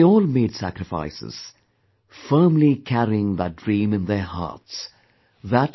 They all made sacrifices, firmly carrying that dream in their hearts...